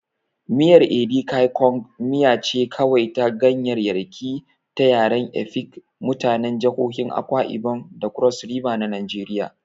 Miyar Edikaikong miya ce kawai ta ganyaryaki ta yaren Efik, mutanen jihohin Akwa Ibom da Cross River na Najeriya.